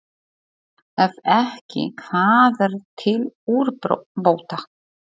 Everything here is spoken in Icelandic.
Ef ekki, hvað er til úrbóta?